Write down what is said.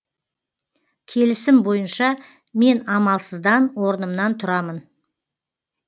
келісім бойынша мен амалсыздан орнымнан тұрамын